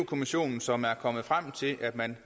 kommissionen som er kommet frem til at man